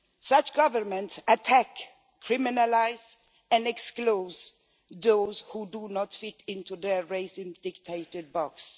Such governments attack, criminalise and exclude those who do not fit into their racially dictated boxes.